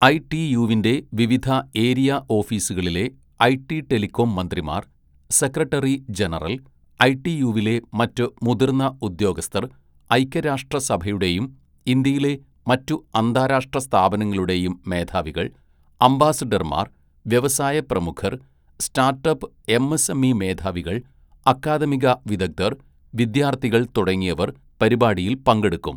ഐടിയുവിന്റെ വിവിധ ഏരിയ ഓഫീസുകളിലെ IT telecom മന്ത്രിമാർ, സെക്രട്ടറി ജനറൽ, ഐടിയുവിലെ മറ്റ് മുതിർന്ന ഉദ്യോഗസ്ഥർ, ഐക്യരാഷ്ട്രസഭയുടെയും ഇന്ത്യയിലെ മറ്റു അന്താരാഷ്ട്ര സ്ഥാപനങ്ങളുടെയും മേധാവികൾ, അംബാസഡർമാർ, വ്യവസായ പ്രമുഖർ, സ്റ്റാട്ടപ്പ് എംഎസ്എംഇ മേധാവികൾ, അക്കാദമിക വിദഗ്ധർ, വിദ്യാർഥികൾ തുടങ്ങിയവർ പരിപാടിയിൽ പങ്കെടുക്കും.